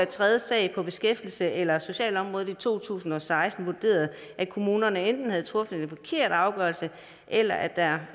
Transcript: tredje sag på beskæftigelses eller socialområdet i to tusind og seksten vurderet at kommunerne enten har truffet en forkert afgørelse eller at der